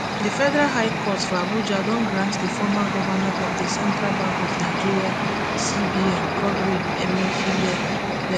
di federal high court for abuja don grant di former govnor of di central bank of nigeria cbn godwin emefiele bail